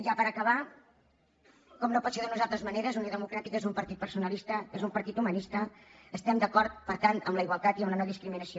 ja per acabar com no pot ser d’unes altres maneres unió democràtica és un partit personalista és un partit humanista estem d’acord per tant amb la igualtat i amb la no discriminació